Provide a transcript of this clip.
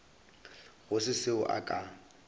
go se seo a ka